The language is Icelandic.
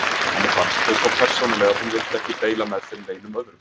Henni fannst þau svo persónuleg að hún vildi ekki deila þeim með neinum öðrum.